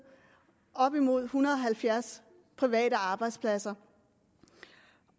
op mod ethundrede og halvfjerdstusind private arbejdspladser